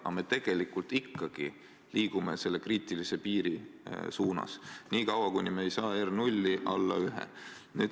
Aga me tegelikult ikkagi liigume selle kriitilise piiri suunas niikaua, kuni me ei saa R0 alla 1.